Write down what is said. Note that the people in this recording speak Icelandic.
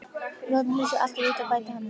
Við notum húsið alltof lítið, bætti hann við.